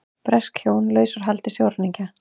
Bresk hjón laus úr haldi sjóræningja